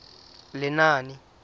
lenaane